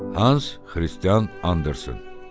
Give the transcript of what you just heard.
Hans Xristian Andersen.